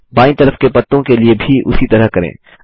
बाईँ तरफ के पत्तों के लिए भी उसी तरह करें